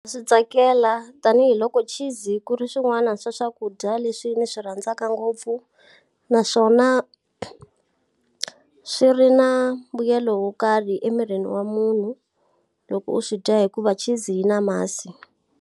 Swi tsakela tanihiloko cheese ku ri swin'wana swa swakudya leswi ndzi swi rhandzaka ngopfu. Naswona, swi ri na mbuyelo wo karhi emirini wa munhu loko u swi dya hikuva cheese yi na masi.